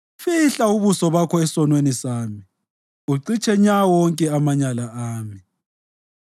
Fihla ubuso bakho esonweni sami ucitshe nya wonke amanyala ami.